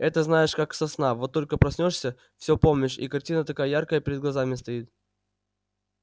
это знаешь как со сна вот только проснёшься все помнишь и картина такая яркая перед глазами стоит